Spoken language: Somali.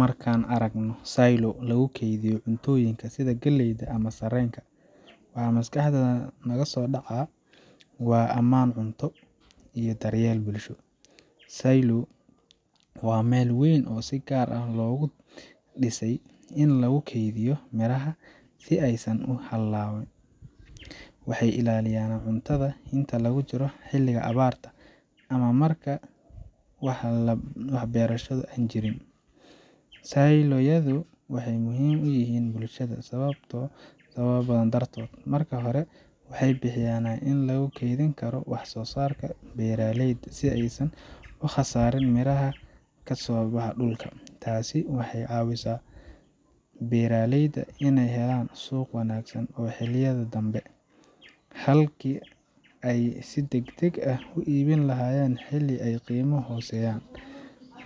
Markaan aragno silo lagu kaydiyo cuntooyinka sida galleyda ama sarreenka, waxa maskaxda naga soo dhaca waa ammaan cunto iyo daryeel bulsho. silo waa meel weyn oo si gaar ah loogu dhisay in lagu kaydiyo miraha si aysan u hallayn wuxuu ilaaliyaa cuntada inta lagu jiro xilliga abaarta ama marka aan wax beerasho ah jirin. silo yadu waxay muhiim u yihiin bulshada sababo badan dartood. Marka hore, waxay bixiyaan xal lagu kaydin karo wax soosaarka beeraleyda, si aysan u khasaarin miraha ka soo baxa dhulka. Taasi waxay ka caawisaa beeraleyda in ay helaan suuq wanaagsan oo xilliyada danbe ah, halkii ay si degdeg ah u iibin lahaayeen xilli ay qiimuhu hooseeyaan.